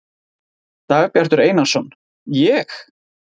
Dagbjartur Einarsson: Ég?